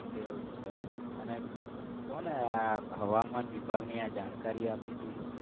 એવું છે અને કોને આ હવામાન વિભાગની જાણકારી આપી હતી?